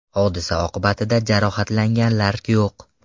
Hodisa oqibatida jarohatlanganlar yo‘q.